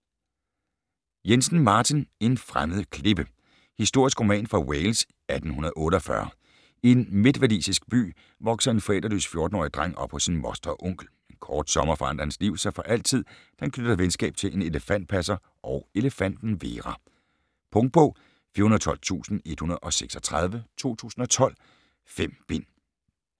Jensen, Martin: En fremmed klippe Historisk roman fra Wales 1848. I en midtwalisisk by vokser en forældreløs 14-årig dreng op hos sin moster og onkel. En kort sommer forandrer hans liv sig for altid da han knytter venskab til en elefantpasser og elefanten Vera. Punktbog 412136 2012. 5 bind.